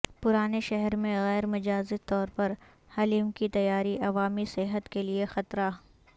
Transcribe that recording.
پرانے شہر میں غیر مجاز طور پر حلیم کی تیاری عوامی صحت کیلئے خطرہ